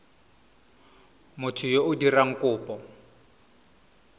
motho yo o dirang kopo